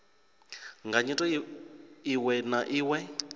nga nyito iwe na iwe